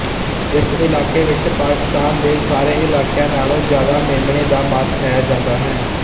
ਇਸ ਇਲਾਕੇ ਵਿੱਚ ਪਾਕਿਸਤਾਨ ਦੇ ਸਾਰੇ ਇਲਾਕਿਆਂ ਨਾਲੋਂ ਜਿਆਦਾ ਮੇਮਣੇ ਦਾ ਮਾਸ ਖਾਇਆ ਜਾਂਦਾ ਹੈ